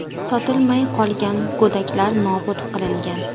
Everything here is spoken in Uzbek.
Sotilmay qolgan go‘daklar nobud qilingan.